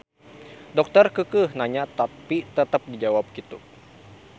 Dokter keukeuh nanya tapi tetep dijawab kitu.